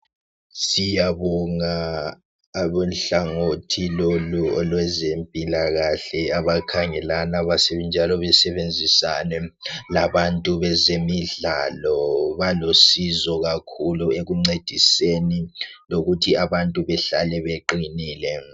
Siyabonga abohlangothi lolu olwezempilakahle abakhangelana njalo besebenzisane labezemidlalo, balusizo kakhulu ekuncediseni lokuthi abantu behlale beqinile.